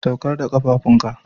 Saukar da kafafun ka.